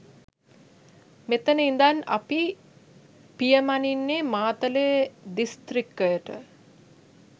මෙතන ඉඳන් අපි පියමනින්නේ මාතලේ දිස්ත්‍රික්කයට.